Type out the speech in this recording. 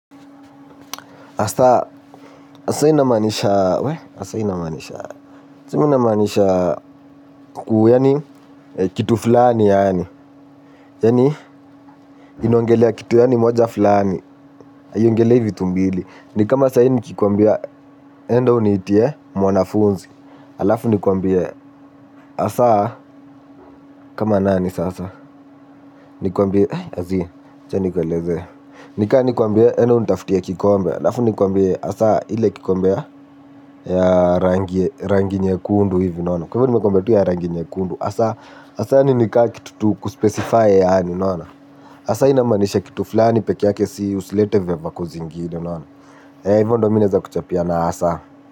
Asa, asa ina manisha, we, asa ina manisha, chimi ina manisha, kuu, yani, kitu fulani yani, yani, inaongelea kitu yani moja fulani, aiongelei vitu mbili, ni kama sai nikikwambia, enda unitie, mwanafunzi, alafu nikwambie, asa, kama nani sasa, nikwambie, ai ziih, acha nikweleze, nika nikwambie, enda unitaftia kikombe, alafu nikwambie, asa, ile kikombe, ya rangi rangi nyekundu hivi unaona kwa hivyo nimekuambia tu ya rangi nyekundu asa asa ni nika kitut u kuspesify yaani unaona asa inamanisha kitu fulani pekeake si usilete veva kuzingine ea hivyo ndo mi neza kuchapia na asa.